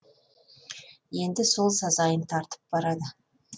енді сол сазайын тартып барады